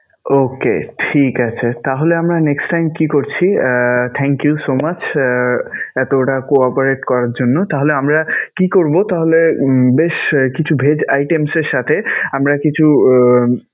Okay ঠিক আছে. তাহলে আমরা next time কি করছি? thank you so much আহ এতোটা co-operate করার জন্য. তাহলে আমরা কি করবো? তাহলে বেশ কিছু vegg items এর সাথে আমরা কিছু